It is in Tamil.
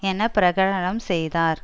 என பிரகடனம் செய்தார்